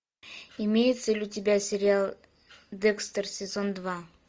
имеется ли у тебя сериал декстер сезон два